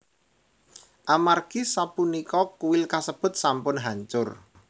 Amargi sapunika kuil kasebut sampun hancur